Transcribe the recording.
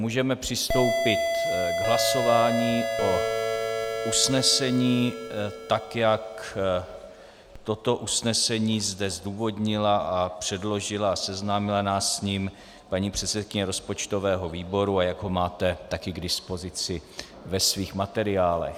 Můžeme přistoupit k hlasování o usnesení, tak, jak toto usnesení zde zdůvodnila a předložila a seznámila nás s ním paní předsedkyně rozpočtového výboru a jak ho máte také k dispozici ve svých materiálech.